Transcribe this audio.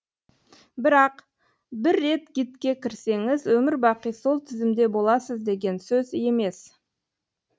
бірақ бір рет гидке кірсеңіз өмір бақи сол тізімде боласыз деген сөз емес